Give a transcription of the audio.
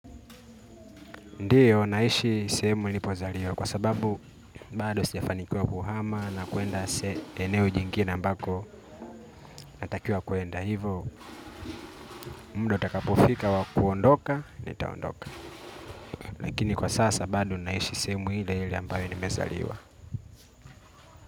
Ndiyo naishi sehemu nilipozaliwa kwa sababu bado sijafanikiwa kuhama na kuenda eneo jingine ambako natakiwa kuenda hivyo muda utakapofika wa kuondoka nitaondoka. Lakini kwa sasa bado nahishi sehemu ile ile ambayo nimezaliwa.